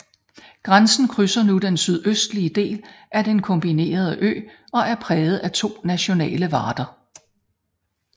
Grænsen krydser nu den sydøstlige del af den kombinerede ø og er præget af to nationale varder